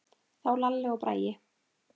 Þá Lalli og Bragi.